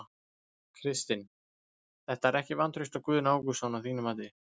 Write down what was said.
Kristinn: Þetta er ekki vantraust á Guðna Ágústsson að þínu mati?